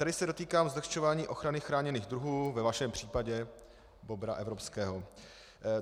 Tady se dotýkám zlehčování ochrany chráněných druhů - ve vašem případě bobra evropského.